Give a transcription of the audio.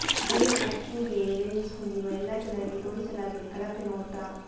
day Acuvue lens ಹೊಂದಿರುವ ಎಲ್ಲಾ ಜನರಿಗೆ ತೋರಿಸಲಾಗಿದೆ ಕಳಪೆ ನೋಟ